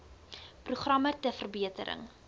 programme ter verbetering